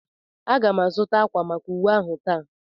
Aga m azụta ákwà maka uwe ahụ taa.